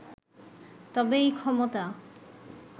তবে এই ক্ষমতা